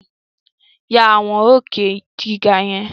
Ya àwòrán òkè gíga yẹn!